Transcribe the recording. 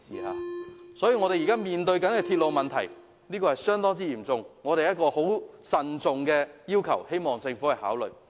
香港現時面對的鐵路問題相當嚴峻，我們慎重提出這要求，希望政府考慮。